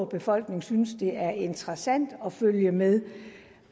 befolkningen synes det er interessant at følge med